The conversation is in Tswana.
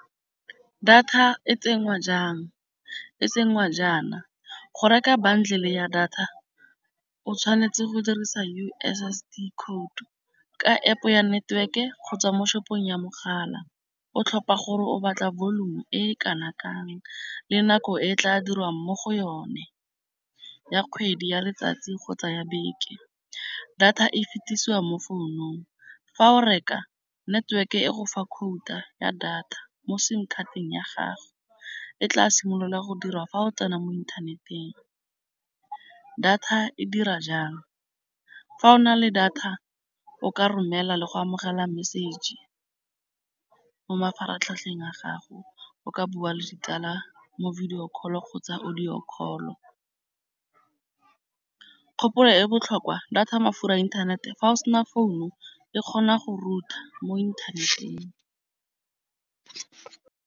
Data e tsenngwa jang? E tsenngwa jaana. Go reka bundle ya data, o tshwanetse go dirisa U_S_S_D code ka App ya network-e kgotsa mo shopong ya mogala. O tlhopha gore o batla volumu e e kana-kang le nako e tla dirwang mo go yone. Ya kgwedi, ya letsatsi kgotsa ya beke. Data e fetisiwa mo founung. Fa o reka, network-e e go fa quota ya data mo sim khatang ya gago. E tla simolola go dirwa fa o tsena mo inthaneteng. Data e dira jang? Fa o na le data o ka romela le go amogela message mo mafaratlhatlheng a gago, o ka bua le ditsala mo video call-o kgotsa audio call-o. Kgopolo e botlhokwa data mafura a internet-e, fa o sena founu e kgona go router mo inthaneteng.